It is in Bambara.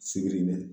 Sibiri bɛ